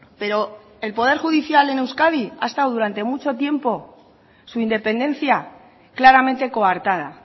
pero el poder judicial en euskadi ha estado durante mucho tiempo su independencia claramente coartada